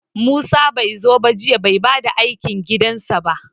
Musa bai zo ba jiya, bai bayar da aikin gidansa ba.